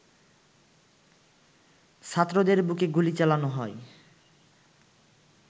ছাত্রদের বুকে গুলি চালানো হয়